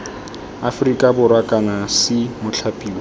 aferika borwa kana c mothapiwa